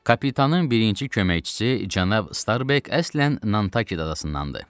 Kapitanın birinci köməkçisi cənab Starbek əslən Nantakid adasındandır.